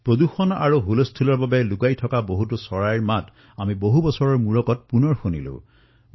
প্ৰদুষণৰ ফলত কিমান এনে পক্ষীৰ কলৰৱ নুশুনা হৈ পৰিছিলো ইমান বছৰৰ মূৰত সেই চৰাইবোৰৰ শব্দ আমি ঘৰতে শুনিবলৈ পাইছো